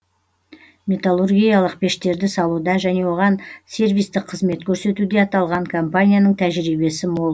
металлургиялық пештерді салуда және оған сервистік қызмет көрсетуде аталған компанияның тәжірибесі мол